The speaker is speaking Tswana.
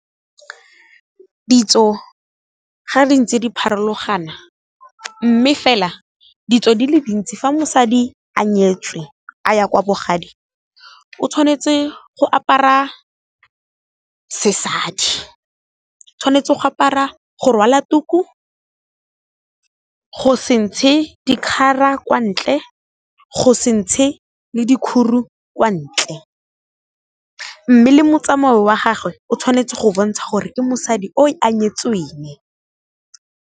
Ditso ga di ntse di pharologano, mme fela ditso di le dintsi fa mosadi a nyetswe a ya kwa bogadi, o tshwanetse go apara sesadi. O tshwanetse go rwala tuku, go se ntshe dikgara kwa ntle, go se ntshe le dikguru kwa ntle, mme le motsamao wa gagwe o tshwanetse go bontsha gore ke mosadi o a nyetsweng.